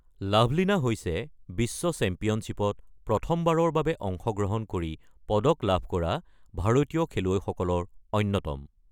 লাভলিনা হৈছে বিশ্ব চেম্পিয়নশ্বিপত প্ৰথমবাৰৰ বাবে অংশগ্ৰহণ কৰি পদক লাভ কৰা ভাৰতীয় খেলুৱৈসকলৰ অন্যতম।